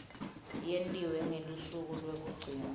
yentiwe ngelusuku lwekugcina